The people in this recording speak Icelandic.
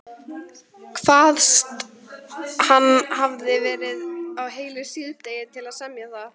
Kvaðst hann hafa varið heilu síðdegi til að semja það.